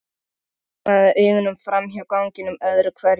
Heldurðu enn að Baddi hafi verið viðriðinn slysið?